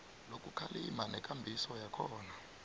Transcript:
lokukhalima nekambiso yakhona